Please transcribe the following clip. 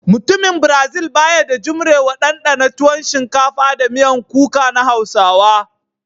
Mutumin "brazil" ba ya da jumrewa dandana tuwon shinkafa da miyan kuka na Hausawa.